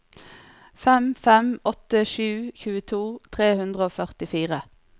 fem fem åtte sju tjueto tre hundre og førtifire